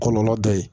Kɔlɔlɔ dɔ ye